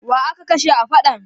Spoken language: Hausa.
Wa aka kashe a faɗan?